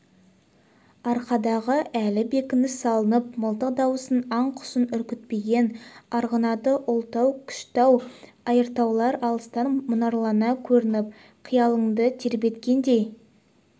арқадағы әлі бекініс салынып мылтық дауысы аң-құсын үркітпеген арғынаты ұлытау кішітау айыртаулар алыстан мұнарлана көрініп қиялыңды тербеткендей